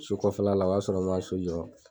So kɔfɛ la o y'a sɔrɔ n man so jɔ.